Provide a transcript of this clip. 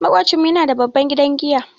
Maƙocinmu yana da babban gidan giya.